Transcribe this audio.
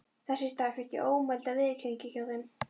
Þess í stað fékk ég ómælda viðurkenningu hjá þeim.